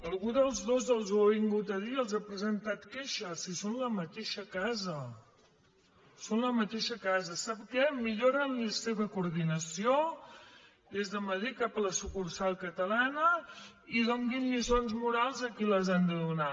algú dels dos els ho ha vingut a dir els han presentat queixes si són la mateixa casa són la mateixa casa sap què millorin la seva coordinació des de madrid cap a la sucursal catalana i donin lliçons morals a qui les han de donar